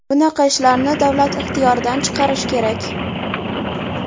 Bunaqa ishlarni davlat ixtiyoridan chiqarish kerak.